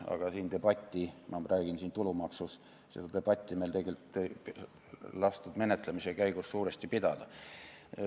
Aga seda debatti – ma räägin siin tulumaksust – ei lastud meil menetlemise käigus suuresti pidada.